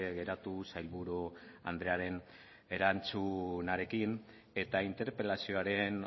geratu sailburu andrearen erantzunarekin eta interpelazioaren